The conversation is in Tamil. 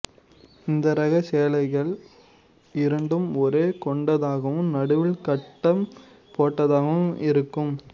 இந்த ரகச் சேலைகள் இரண்டு ஓரம் கொண்டதாகவும் நடுவில் கட்டம் போட்டதாகவும் இருக்கும்